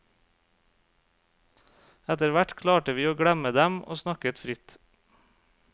Etterhvert klarte vi å glemme dem og snakket fritt.